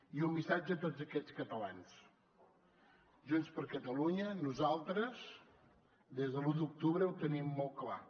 i un missatge a tots aquests catalans junts per catalunya nosaltres des de l’u d’octubre ho tenim molt clar